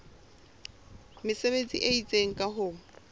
mesebetsi e itseng ka ho